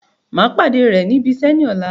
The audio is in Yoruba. Màá pàdé rẹ ní ibiṣẹ́ ní ọ̀la